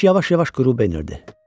Günəş yavaş-yavaş qürub edirdi.